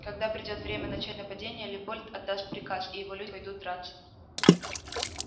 когда придёт время начать нападение лепольд отдаст приказ и его люди пойдут драться